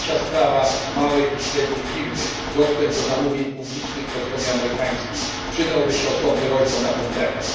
I trzecia sprawa małe i średnie firmy a dostęp do zamówień publicznych po stronie amerykańskiej przydałby się osobny rozdział na ten temat.